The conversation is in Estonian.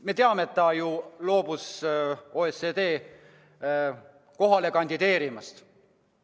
Me teame, et ta loobus OECD juhi kohale kandideerimast.